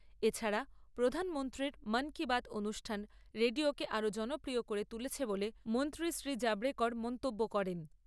এ ছাড়া প্রধানমন্ত্রীর মন কি বাত অনুষ্ঠান রেডিওকে আরও জনপ্রিয় করে তুলেছে বলে মন্ত্রী শ্রী জাভড়েকর মন্তব্য করেন।